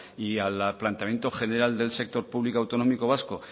y al planteamiento general del sector público autonómico vasco